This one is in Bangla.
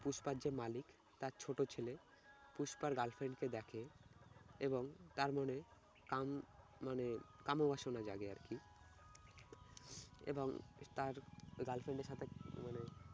পুষ্পার যে মালিক তার ছোট ছেলে পুষ্পার girlfriend কে দেখে এবং তার মনে কাম মানে কাম ও বাসনা জাগে আর কি এবং তার girlfriend এর সাথে মানে